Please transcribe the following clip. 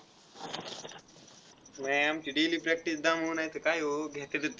व्यायामची daily practice दमू नायतर काय हो, घेतातच.